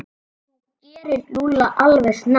Þú gerir Lúlla alveg snar,